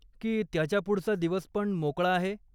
की त्याच्या पुढचा दिवस पण मोकळा आहे?